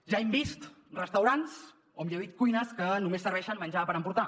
ja hem vist restaurants o millor dit cuines que només serveixen menjar per emportar